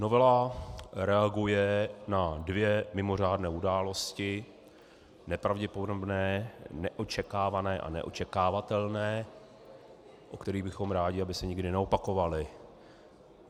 Novela reaguje na dvě mimořádné události, nepravděpodobné, neočekávané a neočekávatelné, u kterých bychom rádi, aby se nikdy neopakovaly.